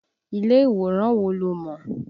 Ilé ìwòran wo lo mọ̀?